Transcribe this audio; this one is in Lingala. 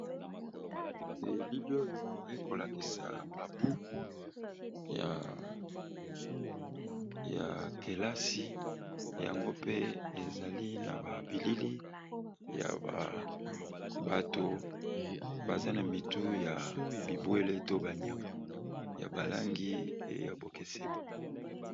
elili oyo ekolakisa babuku ya kelasi yango mpe ezali na babilili ya bato baza na mitu ya bibwele to banyama ya balangi eya bokeseni